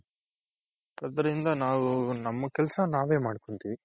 ಅದ್ರಿಂದ ನಾವು ನಮ್ ಕೆಲಸ ನಾವೇ ಮಾಡ್ಕೊಂತಿವಿ